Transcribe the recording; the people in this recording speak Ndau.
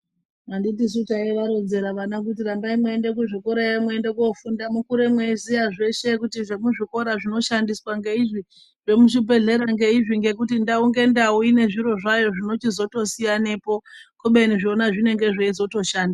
Anditisu taivaronzera vana kuti rambai mweienda kuzvikora yo mweienda kunofunda mukure mweiziya zveshe kuti zvemuzvi kora zvinoshandiswa ngeizvi zvemuzvibhehlera ngeizvi ngekuti ndau ngendau inezviro zvayo zvinochizoto siyanepo kubeni zvona zvinenge zveizoto shanda